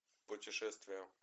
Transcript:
путешествия